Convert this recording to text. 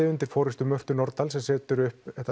undir forystu Mörtu Nordal sem setur upp